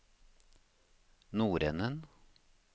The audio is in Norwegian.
nordenden